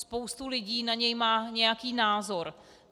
Spousta lidí na něj má nějaký názor.